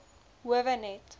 howe net